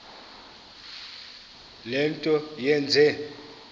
le nto yenze